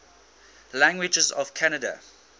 languages of canada